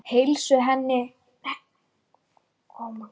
Heilsu hennar virðist hraka.